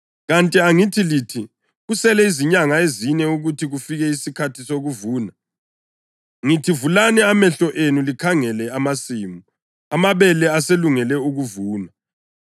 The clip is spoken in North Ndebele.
Kanti angithi lithi, ‘Kusele izinyanga ezine ukuthi kufike isikhathi sokuvuna’? Ngithi vulani amehlo enu likhangele amasimu! Amabele aselungele ukuvunwa.